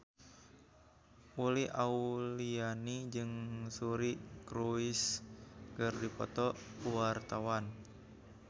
Uli Auliani jeung Suri Cruise keur dipoto ku wartawan